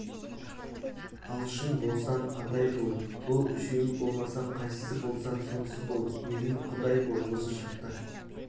алшын болсаң адай бол бұл үшеуі болмасаң қайсысы болсаң сонысы бол мейлің құдай бол осы шақта